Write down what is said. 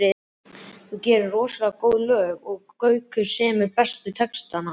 Þú gerir rosalega góð lög og Gaukur semur bestu textana.